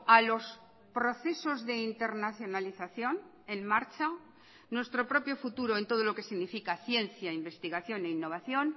a los procesos de internacionalización en marcha nuestro propio futuro en todo lo que significa ciencia investigación e innovación